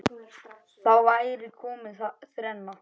Þá væri komin þrenna.